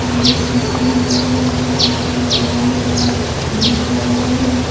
यहाँ पे सीसा लगा हुआ है लाइटे लगा हुआ है डिस लगा हुआ है ।